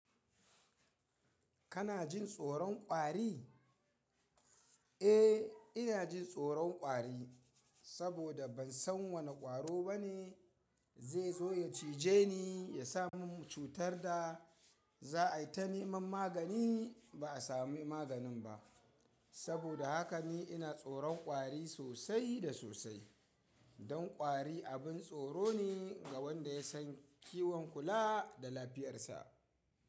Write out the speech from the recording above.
Kana jin tsoron ƙwari? Eh, ina jin tsoron ƙwari, saboda ban san wane ƙwaro bane zai zo ya cije ni, ya sa mun cutar da za a yi ta neman magani ba a sami maganin ba. Saboda haka ni ina tsoron ƙwari sosai da sosai. Don ƙwari abin tsoro ne ga wanda ya san kiwon kula da lafiyar sa.